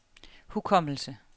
hukommelse